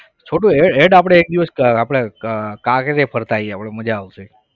છોટુ હેડ હેડ આપણે એક દિવસ આપણે કાંકરિયા ફરતા આવીએ આપણે મજા આવશે.